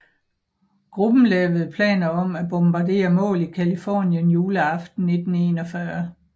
Gruppen lavede planer om at bombardere mål i Californien juleaften 1941